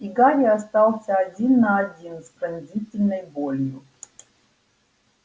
и гарри остался один на один с пронзительной болью